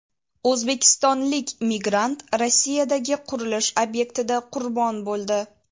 O‘zbekistonlik migrant Rossiyadagi qurilish ob’ektida qurbon bo‘ldi.